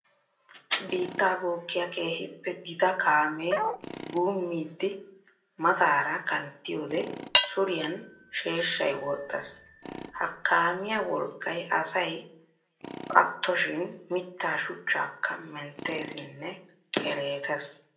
Biitta bookkiya keehippe gita kaame guumiddi mataara kanttiyodde suriyan sheeshshay woxxes! Ha kaamiya wolqqay asay attoshin mitta shuchchakka menttessinne keerettes.